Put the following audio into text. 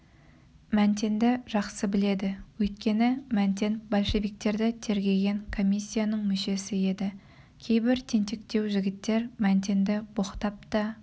мәнтенді жақсы біледі өйткені мәнтен большевиктерді тергеген комиссияның мүшесі еді кейбір тентектеу жігіттер мәнтенді боқтап та